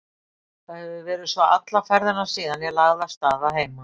Það hefir verið svo alla ferðina síðan ég lagði af stað að heiman.